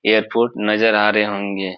Airport नजर आ रहें होंगे।